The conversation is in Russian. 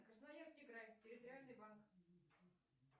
красноярский край территориальный банк